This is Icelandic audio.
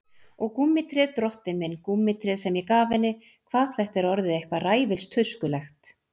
Og gúmmítréð, drottinn minn, gúmmítréð sem ég gaf henni, hvað þetta er orðið eitthvað ræfilstuskulegt.